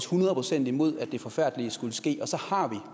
hundrede procent imod at det forfærdelige skulle ske og så har